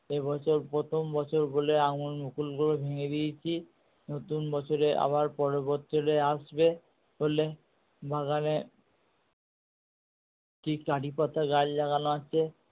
এ বছর প্রথম বছর বলে আমের মুকুল গুলো ভেঙে দিয়েছি। নতুন বছরে আবার পরের বছরে আসবে হলে বাগানে কি কারি পাতা গাছ লাগানো আছে